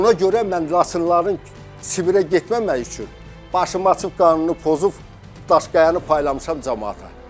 Ona görə mən Laçınlıların Sibirə getməməyi üçün başımı açıb qanunu pozub Daşqayanı paylamışam camaata.